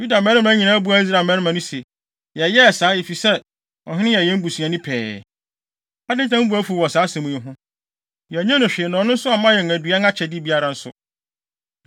Yuda mmarima nyinaa buaa Israel mmarima no se, “Yɛyɛɛ saa, efisɛ, ɔhene no yɛ yɛn busuani pɛɛ. Adɛn nti na mo bo afuw wɔ saa asɛm yi ho? Yɛannye no hwee na ɔno nso amma yɛn aduan anaa akyɛde biara nso.”